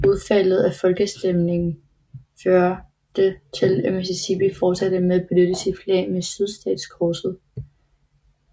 Udfaldet af folkeafstemningen førte til at Mississippi fortsatte med at benytte sit flag med sydstatskorset